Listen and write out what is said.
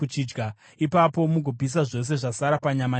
Ipapo mugopisa zvose zvasara panyama nechingwa.